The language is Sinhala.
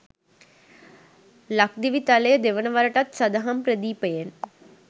ලක්දිවිතලය දෙවන වරටත් සදහම් ප්‍රදීපයෙන්